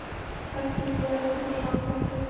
Ekki upp í aðra nösina á ketti.